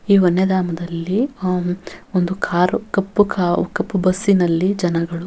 ಈ ವನ್ಯಧಾಮದಲ್ಲಿ ಆಮ್ ಒಂದು ಕಾರ್ ಕಪ್ಪು ಕಾವ್ ಕಪ್ಪು ಬಸ್ ನಲ್ಲಿ ಜನಗಳು--